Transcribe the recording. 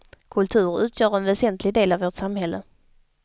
Kultur utgör en väsentlig del av vårt samhälle.